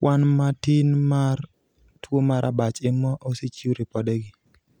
kwan matin mar tuo mar abach ema osechiw ripodegi